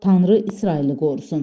Tanrı İsraili qorusun.